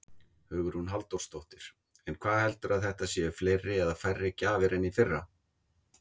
Hugrún Halldórsdóttir: En heldurðu að þetta séu fleiri eða færri gjafir en í fyrra?